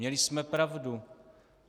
Měli jsme pravdu.